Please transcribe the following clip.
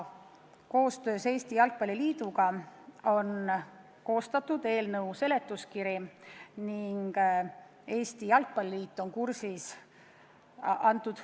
Koostöös Eesti Jalgpalli Liiduga on nüüd koostatud eelnõu seletuskiri, seega Eesti Jalgpalli Liit on eelnõuga kursis.